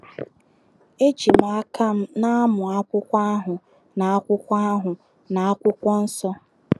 Eji m aka m na - amụ akwụkwọ ahụ na akwụkwọ ahụ na akwụkwọ nsọ.